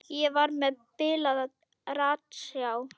Ég var með bilaða ratsjá.